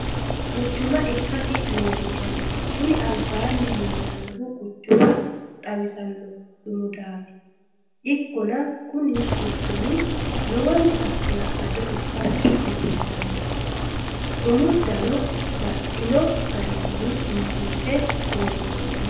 Quchumma ikkasi leelishano kuni alibanni lellanohu quchuma xawisanoha sumuda ikkanna, koni quchumi lowonta halalado ikkassi leelliishanno, sumudannu baxino garinni biifinse loonsoonni